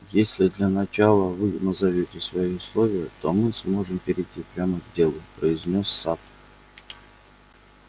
если для начала вы назовёте свои условия то мы сможем перейти прямо к делу произнёс сатт